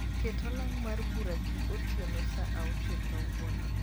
ket olang mar bura gi otieno saa achiel kawuono